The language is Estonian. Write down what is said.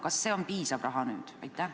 Kas see on nüüd piisav raha?